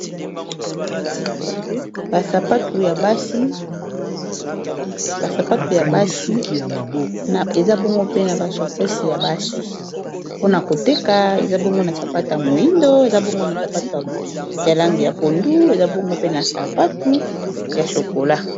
Ba sapatu ya basi eza bongo mpe na ba shacosi ya basi mpona koteka eza bongo na sapata a moyindo, eza bongo na sapatu ya langi ya pondu, eza bongo mpe na sapatu ya chokola.